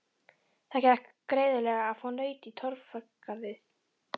Það gekk greiðlega að fá naut í Torfgarði.